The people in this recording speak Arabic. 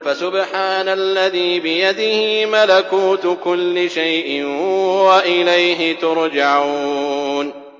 فَسُبْحَانَ الَّذِي بِيَدِهِ مَلَكُوتُ كُلِّ شَيْءٍ وَإِلَيْهِ تُرْجَعُونَ